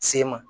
Sen ma